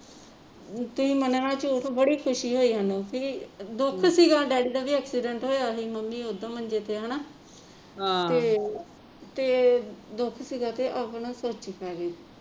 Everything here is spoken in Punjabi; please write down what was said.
ਤੁਸੀਂ ਮੰਨੋਗੇ ਝੂਠ ਬੜੀ ਖੁਸ਼ੀ ਹੋਈ ਸਾਨੂੰ ਵੀ ਦੁੱਖ ਸੀਗਾ ਵੀ ਡੈਡੀ ਦਾ ਐਕਸੀਡੈਂਟ ਹੋਇਆ ਸੀ ਤੇ ਮੰਮੀ ਉੱਦਾ ਮੰਜੇ ਤੇ ਹੈ ਹਣਾ ਤੇ ਦੁੱਖ ਸੀਗਾ ਤੇ ਸੋਚੀ ਪੈ ਗਈ